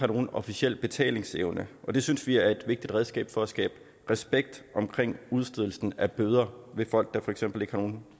nogen officiel betalingsevne og det synes vi er et vigtigt redskab for at skabe respekt omkring udstedelsen af bøder til folk der for eksempel ikke har nogen